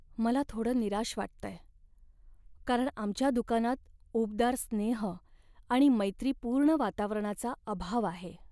मला थोडं निराश वाटतंय, कारण आमच्या दुकानात उबदार स्नेह आणि मैत्रीपूर्ण वातावरणाचा अभाव आहे.